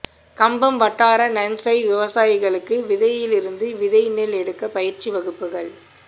கம்பம் வட்டார நன்செய் விவசாயிகளுக்கு விதையிலிருந்து விதை நெல் எடுக்க பயிற்சி வகுப்புகள்